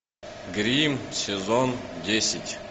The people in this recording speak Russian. гримм сезон десять